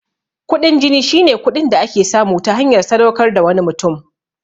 Kuɗin jini shine kuɗin da ake samu ta hanyar sadaukar da wani mutum.